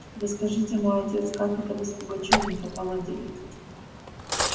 да скажите мой отец как это вы с пугачёвым-то поладили